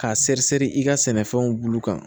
K'a seri sɛri i ka sɛnɛfɛnw bulu kan